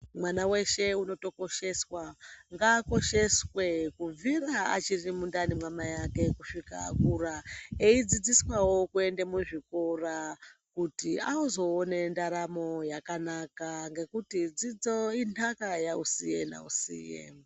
Mwana weshe unotokosheswa, ngaakosheswe, kubvira achiri mundani mwamai ake kusvika akura. Eidzidziswavo kuende muzvikora, kuti azoone ndaramo yakanaka, ngekuti dzidzo inthaka yausiye-nausiye.